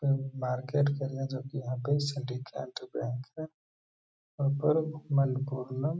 ये बारकोड कर रहे हैं जो कि यहाँ पे सिटी केंटल बैंक है और --